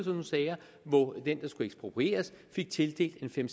nogle sager hvor den der skulle eksproprieres fik tildelt en fem